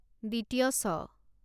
ছ